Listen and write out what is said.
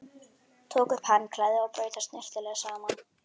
Tók upp handklæðið og braut það snyrtilega saman.